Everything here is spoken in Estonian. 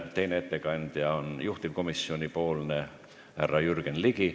Teine on juhtivkomisjoni ettekandja härra Jürgen Ligi.